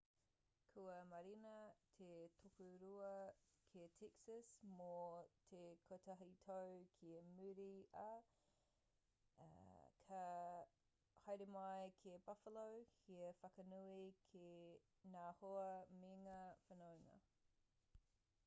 kua mārena te tokorua ki texas mō te kotahi tau ki muri ā ka haere mai ki buffalo hei whakanui ki ngā hoa mengā whanaunga